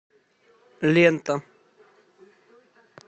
лента